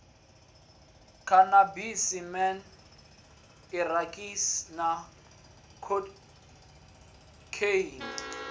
khanabisi man irakisi na khokheini